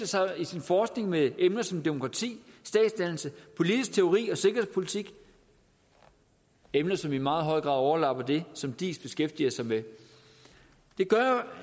sig i sin forskning med emner som demokrati statsdannelse politisk teori og sikkerhedspolitik emner som i meget høj grad overlapper det som diis beskæftiger sig med